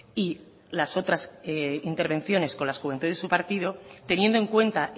y las otras intervenciones con las juventudes de su partido teniendo en cuenta